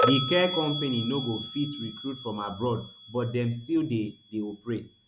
di care company no go fit recruit from abroad but dem still dey dey operate